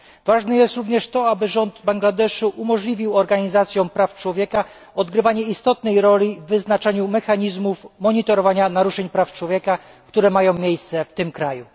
Ważne jest również to, aby rząd Bangladeszu umożliwił organizacjom praw człowieka odgrywanie istotnej roli w wyznaczaniu mechanizmów monitorowania naruszeń praw człowieka, które mają miejsce w tym kraju.